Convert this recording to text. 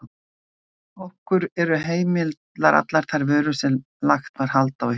Okkur eru heimilar allar þær vörur sem lagt var hald á í haust.